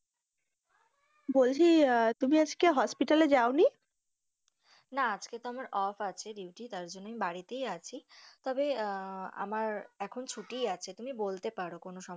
বলছি তুমি আজকে hospital এ যাওনি? না আজকে তো আমার off আছে duty আছি, তার জন্য আমি বাড়িতেই আছি, তবে আমার এখন ছুটি আছে, তুমি বলতে পারো কোনো সমস্যা।